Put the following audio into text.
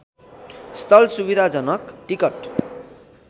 स्थल सुविधाजनक टिकट